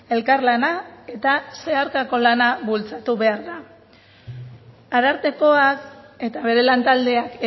elkarlana eta zeharkako lana bultzatu behar da arartekoak eta bere lantaldeak